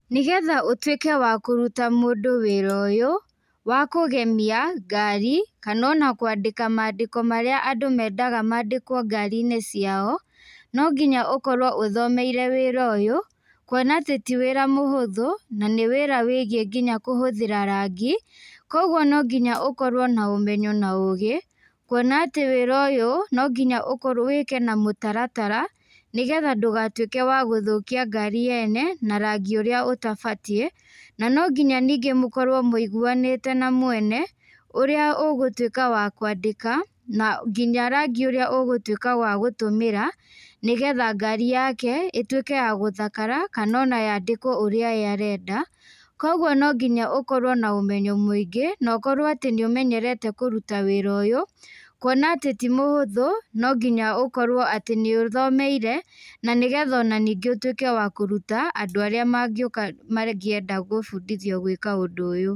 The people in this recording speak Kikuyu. Nĩgetha ũtũĩke wa kũruta mũndũ wĩra ũyũ ,wa kũgemĩa ngarĩ, kana ona kwandĩka maandĩko mara andũ mendaga maandĩkwo ngari-ĩnĩ cĩao, no ngĩnya ũkorwo ũthomeĩre wĩra ũyũ kũona atĩ tĩ wĩra mũhũthũ, na nĩ wĩra wĩgiĩ ngĩnya kũhũthĩra rangĩ. koguo no ngĩnya ũkorwo na ũmenyo na ũgi kũona atĩ wĩra ũyũ no ngĩnya wĩke na mũtaratara nĩgetha ndũgatũike wa gũthũkia ngari yene, na rangi ũrĩa ũtabatĩe, na no ngĩnya nĩnge mũkorwo mũĩgũanĩte na mwene ,ũrĩa ũgũtũĩka wa kwandĩka na ngĩnya rangi ũrĩa ũgũtũĩka wa gũtũmira. Nĩgetha ngari yake ĩtuĩke ya gũthakara kana ona yandĩkwo ũrĩa ye arenda kwa ogwo no ngĩnya ũkorwo na ũmenyo mũĩngĩ, na ũkorwo atĩ nĩ ũmenyerete kũrũta wĩra ũyũ, kũona atĩ tĩ mũhũthu no ngĩnya ũkorwo nĩ ũthomeĩre na nĩgetha ona nĩngi ũtũĩke wa kũrũta andũ arĩa mangĩenda gũbũndĩthio ũndũ ũyũ.